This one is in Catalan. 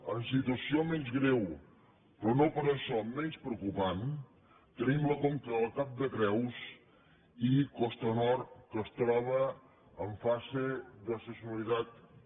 en situació menys greu però no per això menys preocupant tenim la conca del cap de creus i costa nord que es troba en fase d’excepcionalitat un